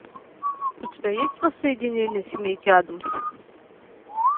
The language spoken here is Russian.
у тебя есть воссоединение семейки адамс